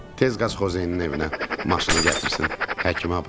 Tez qazxozyenin evinə, maşını gətirsin, həkimə aparaq.